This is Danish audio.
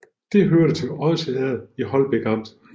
Det hørte til Odsherred i Holbæk Amt